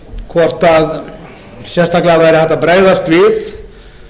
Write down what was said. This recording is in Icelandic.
hvort sérstaklega væri hægt að bregðast við